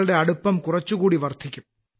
ളുടെ അടുപ്പം കുറച്ചുകൂടി വർദ്ധിക്കും